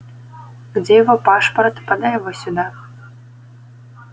где его пашпорт подай его сюда